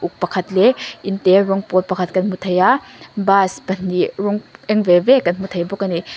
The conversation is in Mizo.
pakhat leh in te rawng pawl pakhat kan hmu thei aaa bus pahnih rawng eng ve ve kan hmu thei bawk a ni.